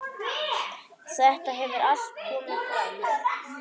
Þetta hefur allt komið fram.